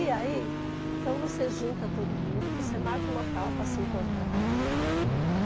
E aí, então você junta todo mundo, você marca um local para se encontrar.